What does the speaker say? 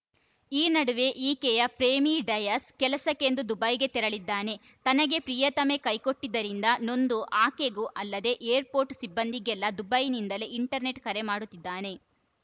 ಈ ನಡುವೆ ಈಕೆಯ ಪ್ರೇಮಿ ಡಯಸ್‌ ಕೆಲಸಕ್ಕೆಂದು ದುಬೈಗೆ ತೆರಳಿದ್ದಾನೆ ತನಗೆ ಪ್ರಿಯತಮೆ ಕೈಕೊಟ್ಟಿದ್ದರಿಂದ ನೊಂದು ಆಕೆಗೂ ಅಲ್ಲದೆ ಏರ್‌ಪೋರ್ಟ್‌ ಸಿಬ್ಬಂದಿಗೆಲ್ಲ ದುಬೈನಿಂದಲೇ ಇಂಟರ್ನೆಟ್‌ ಕರೆ ಮಾಡುತ್ತಿದ್ದಾನೆ